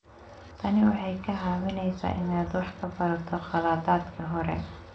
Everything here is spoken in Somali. Tani waxay kaa caawinaysaa inaad wax ka barato khaladaadkii hore.